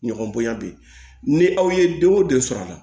Ɲɔgɔn bonya bi ni aw ye den o den sɔrɔ a la